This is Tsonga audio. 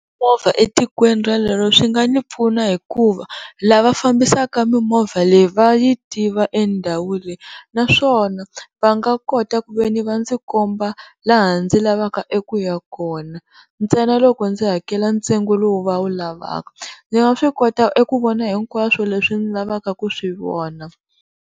Mimovha etikweni rolero swi nga ni pfuna hikuva lava fambisaka mimovha leyi va yi tiva endhawu leyi, naswona va nga kota ku ve ni va ndzi komba laha ndzi lavaka eku ya kona, ntsena loko ndzi hakela ntsengo lowu va wu lavaka, ndzi nga swi kota eku vona hinkwaswo leswi ni lavaka ku swivona.